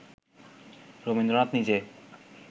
রবীন্দ্রনাথ নিজে